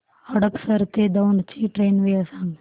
हडपसर ते दौंड ची ट्रेन वेळ सांग